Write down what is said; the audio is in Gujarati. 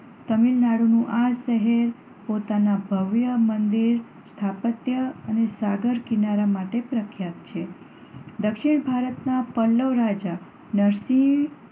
તમિલનાડુનું આ શહેર પોતાનાં ભવ્ય મંદિર સ્થાપત્ય અને સાગર કિનારા માટે પ્રખ્યાત છે. દક્ષિણ